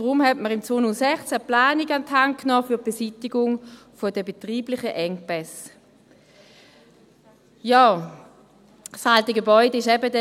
Deshalb hat man 2006 eine Planung zur Beseitigung der betrieblichen Engpässe an die Hand genommen.